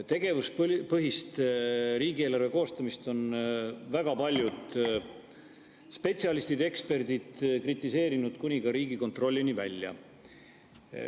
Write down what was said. Tegevuspõhist riigieelarve koostamist on kritiseerinud väga paljud spetsialistid ja eksperdid kuni Riigikontrollini välja.